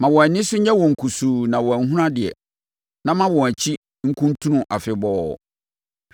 Ma wɔn ani so nyɛ wɔn kusuu na wɔanhunu adeɛ, na ma wɔn akyi nkuntunu afebɔɔ.